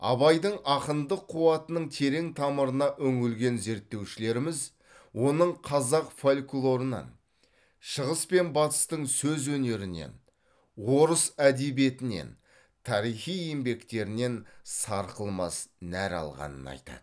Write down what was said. абайдың ақындық қуатының терең тамырына үңілген зерттеушілеріміз оның қазақ фольклорынан шығыс пен батыстың сөз өнерінен орыс әдебиетінен тарихи еңбектерінен сарқылмас нәр алғанын айтады